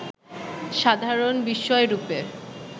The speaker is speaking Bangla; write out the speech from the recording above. সাধারণ বিষয়রূপে